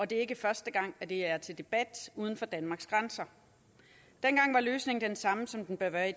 det er ikke første gang at det er til debat uden for danmarks grænser dengang var løsningen den samme som den bør være i